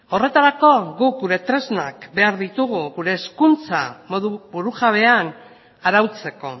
horretarako guk gure tresnak behar ditugu gure hezkuntza modu burujabean arautzeko